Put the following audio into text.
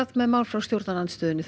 með mál frá stjórnarandstöðunni þau